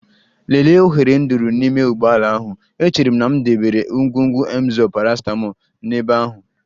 Lelee oghere nduru n'ime ụgbọ ala ahụ, echere m na m debere ngwugwu Emzor paracetamol n'ebe ahụ.